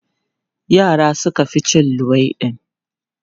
Yara suka fi cin luwaiɗi.